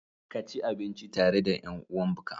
Kaci abinci tare da ƴan uwanbka.